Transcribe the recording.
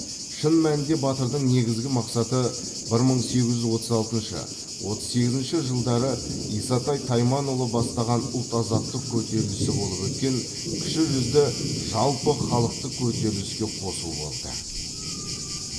шын мәнінде батырдың негізгі мақсаты бір мың сегіз жүз отыз алтыншы отыз сегізінші жылдары исатай тайманұлы бастаған ұлт азаттық көтерілісі болып өткен кіші жүзді жалпы халықтық көтеріліске қосу болды